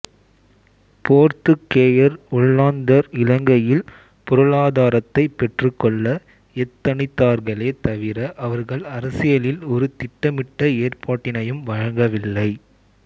போர்த்துக்கேயர் ஒல்லாந்தர் இலங்கையில் பொருளாதாரத்தை பெற்றுக்கொள்ள எத்தனித்தார்களே தவிர அவர்கள் அரசியலில் ஒரு திட்டமிட்ட ஏற்பாட்டினையும் வழங்கவில்லை